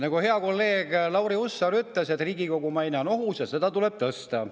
Nagu hea kolleeg Lauri Hussar ütles, Riigikogu maine on ohus ja seda tuleb tõsta.